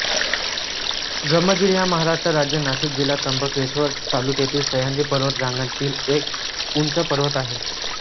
ब्रह्मगिरी हा महाराष्ट्र राज्य नाशिक जिल्हा त्र्यंबकेश्वर तालुक्यातील सह्याद्री पर्वत रांगांतील एक उंच पर्वत आहे